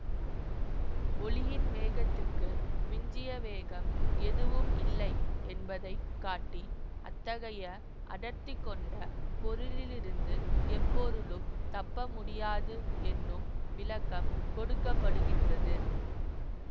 ஒளியின் வேகத்துக்கு மிஞ்சிய வேகம் எதுவும் இல்லை என்பதை காட்டி அத்தகைய அடர்த்தி கொண்ட பொருளிலிருந்து எப்பொருளும் தப்பமுடியாது என்னும் விளக்கம் கொடுக்கப்படுகின்றது